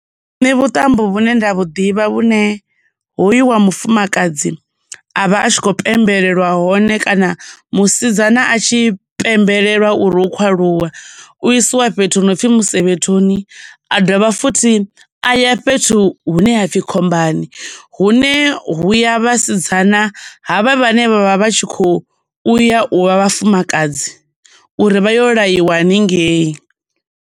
Nṋe vhuṱambo vhune nda vhuḓivha vhune hoyu wa mufumakadzi avha a tshi khou pembelwa hone kana musidzana a tshi pembelelwa uri u khou aluwa u isiwa fhethu hu no pfi musevhethoni, a dovha futhi aya fhethu hune hapfi khombani, hune huya vhasidzana havha vhane vhavha vhatshi kho uya u vha vhafumakadzi uri vha yo laiwa haningei.